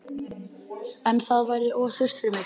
En það væri of þurrt fyrir mig